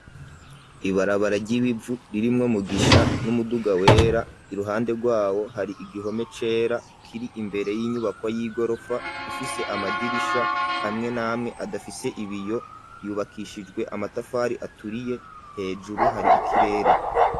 Ibarabara ry'ibivu ririmwo Mugisha n'umuduga wera iruhande rwawo hari igihome cera kiri imbere y'inyubako y'igorofa ifise amadirisha amwe namwe adafise ibiyo. Yubakishijwe amatafari aturiye hejuru hari ikirere.